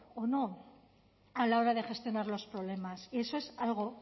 o no a la hora de gestionar los problemas y eso es algo